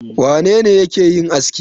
Wane ne yake yin aski?